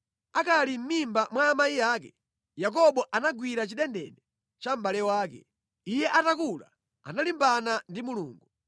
Akali mʼmimba mwa amayi ake, Yakobo anagwira chidendene cha mʼbale wake; iye atakula analimbana ndi Mulungu.